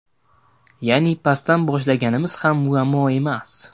Ya’ni pastdan boshlaganimiz ham muammo emas.